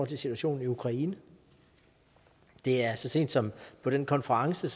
situationen i ukraine det er så sent som på den konference